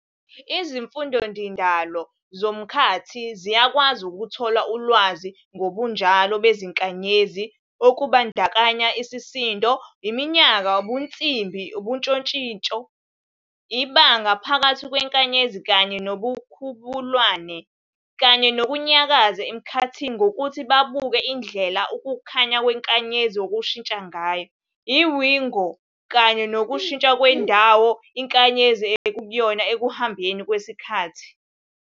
IzimFundindalo zomkhathi ziyakwazi ukuthola ulwazi ngobunjalo beziNkanyezi okubandakanya isisindo, iminyaka, ubunsimbi, ushintshoshintso, ibanga, phakathi kwenkanyezi kanye noNomkhubulwane, kanye nokunyakaza emkhathini ngokuthi babuke indlela ukukhanya kweNkanyezi okushintsha ngayo, iWigo, kanye nokushintsha kwendawo iNkanyezi ekuyona ekuhambeni kwesiKhathi.